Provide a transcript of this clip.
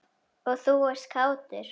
Og þú ert kátur.